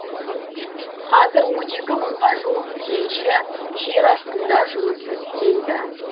қазір он екі мыңға жуық кенші жер астында жұмыс істейді